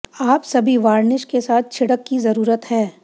आप सभी वार्निश के साथ छिड़क की जरूरत है